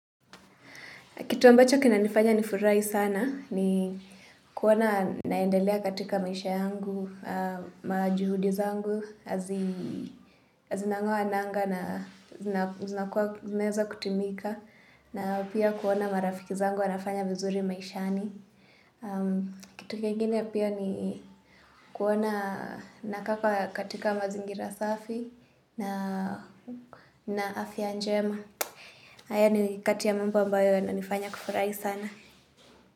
Kitu ambacho kina nifanya ni furai sana ni kuona naendelea katika maisha yangu, majuhudi zangu, zinangoa nanga na ziweza kutimika. Na pia kuona marafiki zangu wanafanya vizuri maishani. Kitu kingine pia ni kuona nakaa katika mazingira safi na afya njema. Aya ni katia mambo ambayo ya na nifanya kufurahi sana.